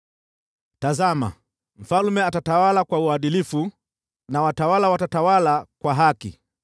Tazama, mfalme atatawala kwa uadilifu na watawala watatawala kwa haki.